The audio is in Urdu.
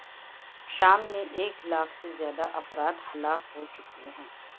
شام میں ایک لاکھ سے زیادہ افراد ہلاک ہو چکے ہیں